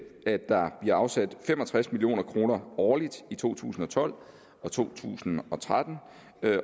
at der bliver afsat fem og tres million kroner årligt i to tusind og tolv og to tusind og tretten